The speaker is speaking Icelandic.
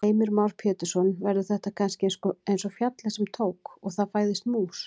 Heimir Már Pétursson: Verður þetta kannski eins og fjallið sem tók. og það fæðist mús?